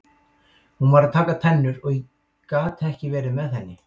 Hún var að taka tennur og ég gat ekki verið með henni.